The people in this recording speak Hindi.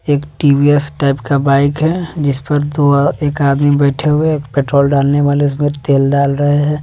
एक टी_वी_एस टाइप का बाइक है जिस पर दो एक आदमी बैठे हुए है एक पेट्रोल डालने वाले उसमें तेल डाल रहे है।